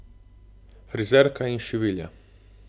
Frizerka in šivilja.